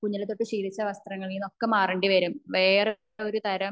കുഞ്ഞിലേ തൊട്ട് ശീലിച്ച വസ്ത്രങ്ങളിന്ന് ഒക്കെ മാറേണ്ടി വരും വേറെ ഒരു തരം